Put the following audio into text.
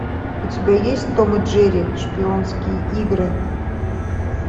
у тебя есть том и джерри шпионские игры